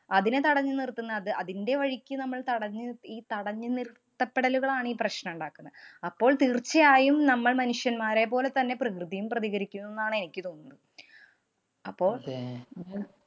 അതിനെ തടഞ്ഞു നിര്‍ത്തുന്ന അത് അതിന്‍റെ വഴിക്ക് നമ്മള്‍ തടഞ്ഞ് ഈ തടഞ്ഞു നിര്‍ത്തപ്പെടലുകളാണീ പ്രശ്നമുണ്ടാക്കുന്നെ. അപ്പോള്‍ തീര്‍ച്ചയായും നമ്മള്‍ മനുഷ്യന്മാരെപ്പോലെ തന്നെ പ്രകൃതിയും പ്രതീകരിക്കുന്നൂന്നാണ് എനിക്ക് തോന്നുന്നത്.